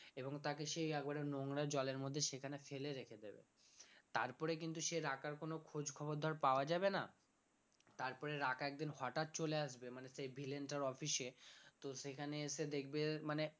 এবং তাকে সেই একবারে নোংরা জলের মধ্যে সেখানে ফেলে রেখে দেবে তারপরে কিন্তু সে রাকার কোন খোঁজখবর ধর পাওয়া যাবে না তারপরে রাকা একদিন হঠাৎ চলে আসবে মানে সেই villain টার office এ তো সেখানে এসে দেখবে মানে